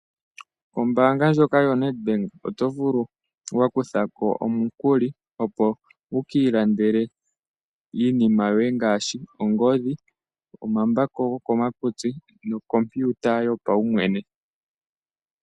Ombaanga ndjoka yoNedBank oto vulu okukutha ko omukuli opo wu kiilandele iinima yoye ngaashi: ongodhi yopeke, omambako nokompiuta yopaumwene.